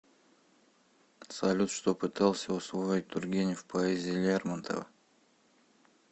салют что пытался усвоить тургенев в поэзии лермонтова